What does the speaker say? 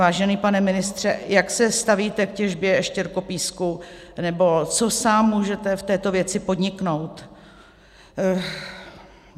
Vážený pane ministře, jak se stavíte k těžbě štěrkopísku nebo co sám můžete v této věci podniknout?